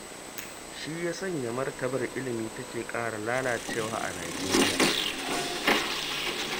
Shi ya sanya martabar ilimi take ƙara lalacewa a Nijeriya.